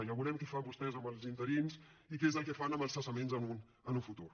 ja veurem què fan vostès amb els interins i què és el que fan amb els cessaments en un futur